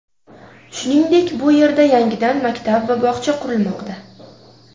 Shuningdek, bu yerda yangidan maktab va bog‘cha qurilmoqda.